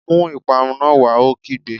Mú ìparun náà wá! Ó kígbe